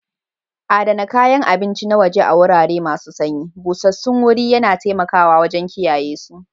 Adana kayan abinci na waje a wurare masu sanyi, busassun wuri yana taimakawa wajen kiyayesu.